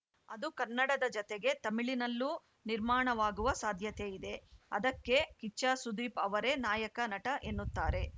ಅದು ಕನ್ನಡದ ಜತೆಗೆ ತಮಿಳಿನಲ್ಲೂ ನಿರ್ಮಾಣವಾಗುವ ಸಾಧ್ಯತೆಯಿದೆ ಅದಕ್ಕೆ ಕಿಚ್ಚ ಸುದೀಪ್‌ ಅವರೇ ನಾಯಕ ನಟ ಎನ್ನುತ್ತಾರೆ